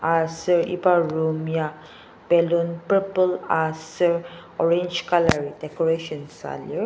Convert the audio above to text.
aser iba room ya ballon purple aser orange colour decoration süa lir.